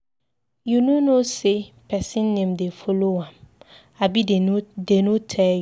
You no know say person name dey follow am, abi dey no tell you.